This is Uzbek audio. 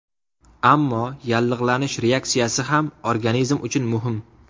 Ammo yallig‘lanish reaksiyasi ham organizm uchun muhim.